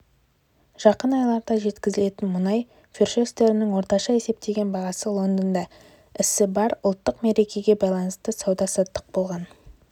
жақын айларда жеткізілетін мұнай фьючерстерінің орташа есептеген бағасы лондонда ісі барр ұлттық мерекеге байланысты сауда-саттық болған